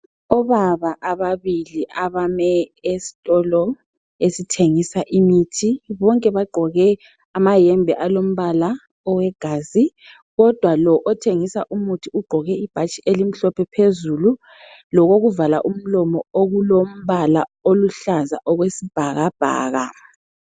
Obaba ababili abame esitolo esithengisa imithi. Bonke bagqoke amahembe alombala owegazi. Kodwa lo othengisa umuthi ugqoke ibhatshi elimhlophe phezulu, lokokuvala umlomo okulombala oluhlaza okwesibhakabhaka.